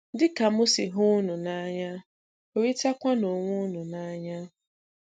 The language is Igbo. Dị ka m si hụ ụnụ n'anya, hụrịtakwanụ onwe ụnụ n'anya.